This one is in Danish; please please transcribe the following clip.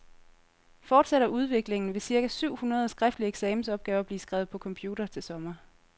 Fortsætter udviklingen, vil cirka syv hundrede skriftlige eksamensopgaver blive skrevet på computer til sommer.